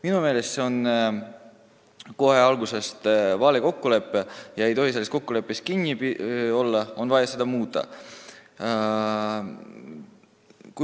Minu meelest oli see kohe algusest peale vale kokkulepe ja ei tohi selles kokkuleppes kinni olla, vaid on vaja seda muuta.